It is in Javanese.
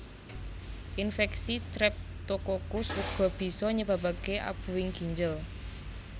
Infeksi Streptokokus uga bisa nyebabake abuhing ginjel